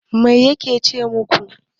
Mai yake ce maku?